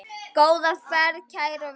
Góða ferð, kæra Veiga.